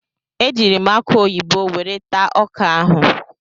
Ejiiri m akụ oyibo were taa ọka ahụ.